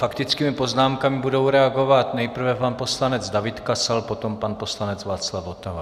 Faktickými poznámkami budou reagovat nejprve pan poslanec David Kasal, potom pan poslanec Václav Votava.